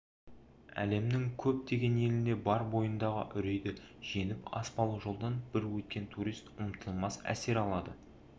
әлемнің көптеген елінде бар бойындағы үрейді жеңіп аспалы жолдан бір өткен турист ұмытылмас әсер алады